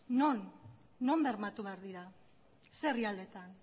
non non bermatu behar dira ze herrialdetan